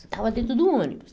Estava dentro do ônibus.